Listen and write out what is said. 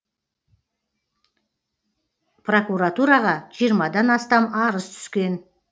прокуратураға жиырмадан астам арыз түскен